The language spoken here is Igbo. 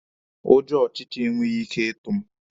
Ụjọ ọchịcha enweghị ike ịtụ mụ.